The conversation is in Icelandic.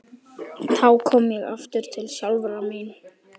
Þá kom ég aftur til sjálfrar mín.